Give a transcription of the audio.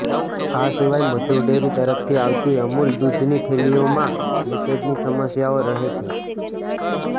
આ સિવાય મધુર ડેરી તરફથી આવતી અમૂલ દૂધની થેલીઓમાં લિકેજની સમસ્યાઓ રહે છે